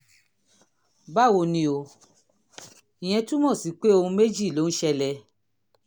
báwo ni o? ìyẹn túmọ̀ sí pé ohun méjì ló lè ṣẹlẹ̀